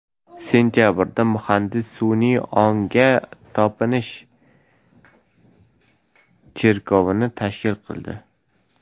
Sentabrda muhandis sun’iy ongga topinish cherkovini tashkil qildi.